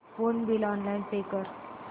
phone bill online pay कर